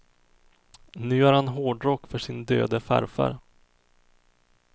Nu gör han hårdrock för sin döde farfar.